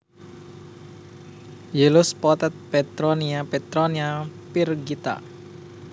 Yellow spotted Petronia Petronia pyrgita